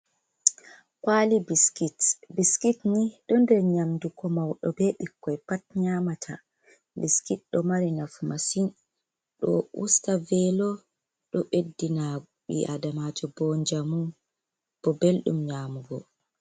Kwali Biskit: Biskit ni ɗo nder nyamdu ko mauɗo be ɓikkoi pat nyamata. Biskit ɗo mari nafu masin. Ɗo usta velo, ɗo ɓeddina ɓi Adamajo bo njamu, bo beldum nyamugo.